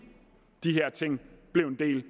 de her ting blev en del